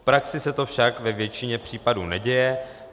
V praxi se to však ve většině případů neděje.